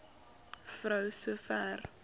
vrou so ver